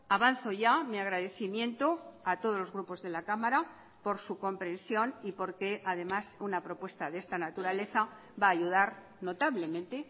avanzo ya mi agradecimiento a todos los grupos de la cámara por su comprensión y por que además una propuesta de esta naturaleza va a ayudar notablemente